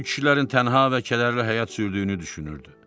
Bu kişilərin tənha və kədərli həyat sürdüyünü düşünürdü.